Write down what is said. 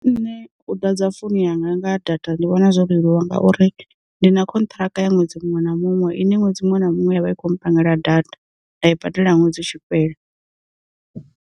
Nṋe u ḓa dza founu yanga nga data ndi vhona zwo leluwa ngauri, ndi na khonthiraka ya ṅwedzi muṅwe na muṅwe i ne ṅwedzi muṅwe na muṅwe yavha i kho mpangela data nda i badela ṅwedzi u tshi fhela.